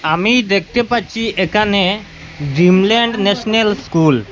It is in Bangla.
আমি দেখতে পাচ্ছি একানে ড্রিমলান্ড ন্যাশনাল স্কুল ।